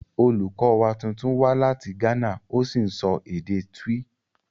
Olùkọ́ wa tuntun wá láti Ghana ó sì ń sọ èdè Twi